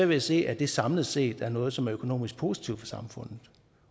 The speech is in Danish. ved at se at det samlet set er noget som er økonomisk positivt for samfundet